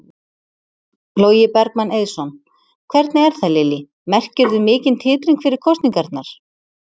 Logi Bergmann Eiðsson: Hvernig er það Lillý, merkirðu mikinn titring fyrir kosningarnar?